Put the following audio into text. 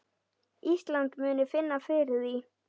Ísland muni finna fyrir því.